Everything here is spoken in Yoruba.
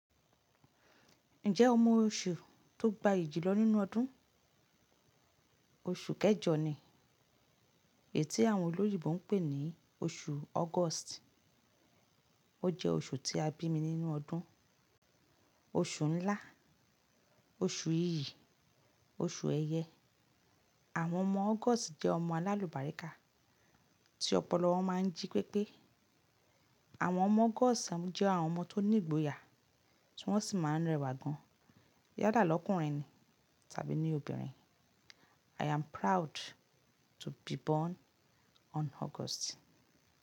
Ǹjẹ́ o mọ oṣù tó gbayì jùlọ nínú ọdún? Oṣù kẹjọ ni, èyí tí àwọn olóyinbo ń pè ní oṣù August. Ó jẹ́ oṣù tí a bí mi nínú ọdún. Oṣù ńlá, oṣù ìyí, oṣù ẹyẹ. Àwọn ọmọ August jẹ́ ọmọ alálùbáríkà tí ọpọlọ máa ń jí pépé. Àwọn ọmọ August jẹ́ àwọn ọmọ tó ní ìgboyà tí wọ́n sì máa ń rẹwà gan-an, yála lọkùnrin tàbí ni obìnrin. I am proud to be born on August.